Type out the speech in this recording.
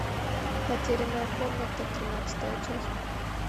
потерянная комната тринадцатая часть